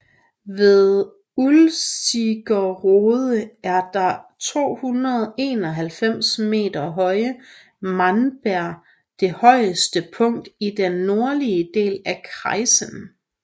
Ved Ulzigerode er det 291 meter høje Mahnberg det højeste punkt i den nordlige del af kreisen